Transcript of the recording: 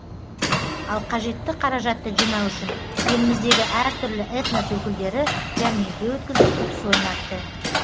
ал қажетті қаражатты жинау үшін еліміздегі әртүрлі этнос өкілдері жәрмеңке өткізіп ұтыс ойнатты